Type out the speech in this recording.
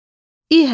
İ hərfi.